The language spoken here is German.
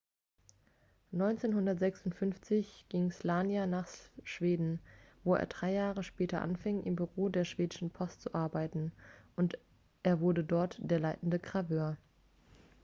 1956 ging słania nach schweden wo er drei jahre später anfing im büro der schwedischen post zu arbeiten und er wurde dort der leitende graveur